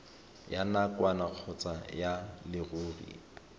ya nakwana kgotsa ya leruri